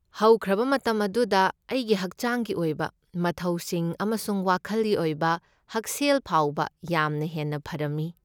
ꯍꯧꯈ꯭ꯔꯕ ꯃꯇꯝ ꯑꯗꯨꯗ ꯑꯩꯒꯤ ꯍꯛꯆꯥꯡꯒꯤ ꯑꯣꯏꯕ ꯃꯊꯧꯁꯤꯡ ꯑꯃꯁꯨꯡ ꯋꯥꯈꯜꯒꯤ ꯑꯣꯏꯕ ꯍꯛꯁꯦꯜ ꯐꯥꯎꯕ ꯌꯥꯝꯅ ꯍꯦꯟꯅ ꯐꯔꯝꯃꯤ꯫